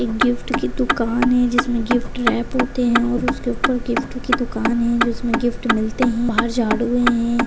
एक गिफ्ट की दुकान है जिसमे गिफ्ट रॅप होते है और उसके उपर गिफ़्टों की दुकान है जो इसमे गिफ्ट मिलते है बाहर झाड़ू है।